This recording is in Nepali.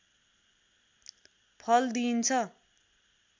फल दिइन्छ